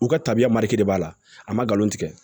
U ka tabiya de b'a la a ma nkalon tigɛ